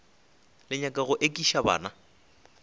le nyaka go ekiša bana